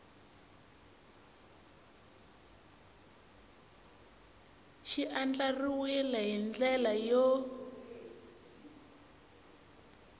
xi andlariwile hi ndlela yo